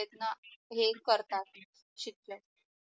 हे करतात शिध